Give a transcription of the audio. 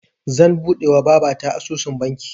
Zan buɗewa babata asusun banki